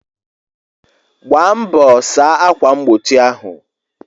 Gbaa mbọ saa akwa mgbochi ahụ!